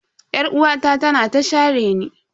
Yar'uwata tana ta shareni.